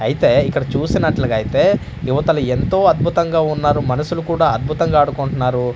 అయితే ఇక్కడ చూస్తున్నట్లుగా అయితే యువతలు ఎంతో అద్భుతంగా ఉన్నారు మనుసులు కూడా అద్భుతంగా ఆడుకుంటున్నారు.